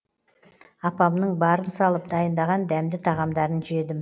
апамның барын салып дайындаған дәмді тағамдарын жедім